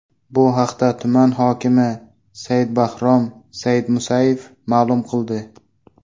Bu haqda tuman hokimi Sayidbahrom Sayidmusayev ma’lum qildi .